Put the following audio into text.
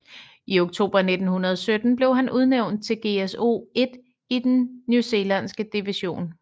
I oktober 1917 blev han udnævnt til GSO 1 i den newzealandske division